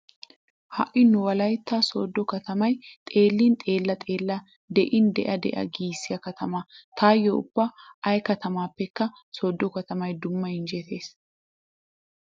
Haay nu Wolytta sooddo katamay xeellin xeella xeella de'in de'a de'a giissiya katama. Taayyo ubba ay katamaappekka sooddo katamay dumma injjetees.